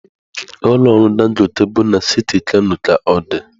Ụlọ ọrụ Dangote bụ na siti Kano ka ọ dị.